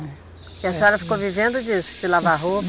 E a senhora ficou vivendo disso, de lavar roupa?